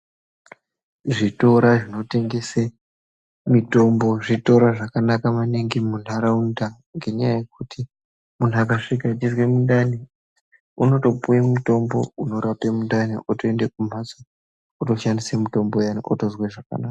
Zvitora zvinotengese mitombo zvitora zvakanaka maningi munharaunda ngenyaya yekuti munhu akasvika echizwe mundani unotopuwe mutombo unorape mundani oende mumhatso otoshandise mutombo uyani otozwe zvakanaka